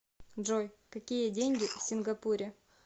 джой какие деньги в сингапуре